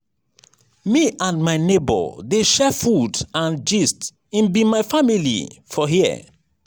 me and my nebor dey share food and gist im be my family for here.